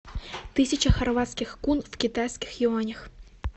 тысяча хорватских кун в китайских юанях